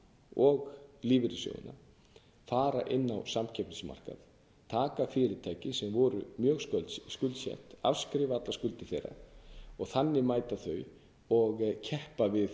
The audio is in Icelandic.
og lífeyrissjóðina fara inn á samkeppnismarkaðinn taka fyrirtæki sem voru ég skuldsett afskrifa allar skuldir þeirra og þannig mæta þau og keppa við